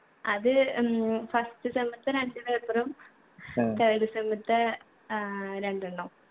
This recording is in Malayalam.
അത് ഉം first sem ത്തെ രണ്ട് paper ഉം third sem ത്തെ ഏർ രണ്ടെണ്ണം